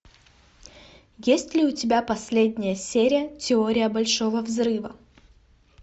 есть ли у тебя последняя серия теория большого взрыва